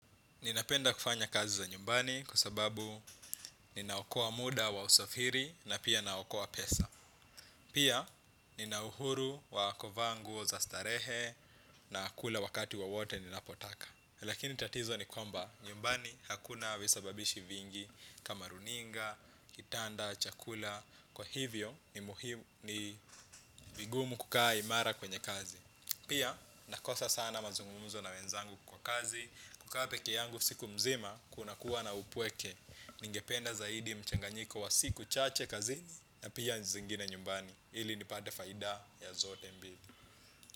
Ninapenda kufanya kazi za nyumbani kwasababu ninaokoa muda wa usafiri na pia ninaokoa pesa. Pia ninauhuru wa kuvaangu za starehe na kula wakati wo wote ninapotaka. Lakini tatizo ni kwamba nyumbani hakuna visababishi vingi kama runinga, kitanda, chakula. Kwa hivyo ni vigumu kukaa imara kwenye kazi. Pia nakosa sana mazungumzo na wenzangu kwa kazi. Kukapekee yangu siku mzima, kuna kuwa na upweke. Ningependa zaidi mchanganyiko wa siku chache kazini. Na pia zingine nyumbani ili nipate faida ya zote mbili.